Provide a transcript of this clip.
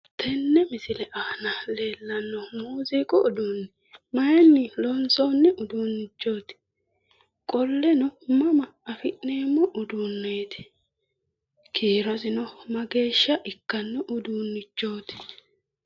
Tenne misile aana leellanno muuziiqu uduunnichi mayiinni loonsoonni uduunnichoooti? Qolleno mama afi'neemmo uduunnichooti kiirosino mageeshsha ikkanno uduunnichooti?